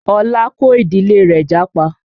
Ọlá kó ìdílé rẹ̀ jápa